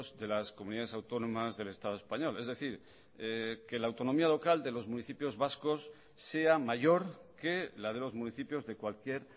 de las comunidades autónomas del estado español es decir que la autonomía local de los municipios vascos sea mayor que la de los municipios de cualquier